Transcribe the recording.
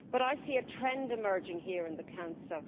But I see a trend emerging here in the Council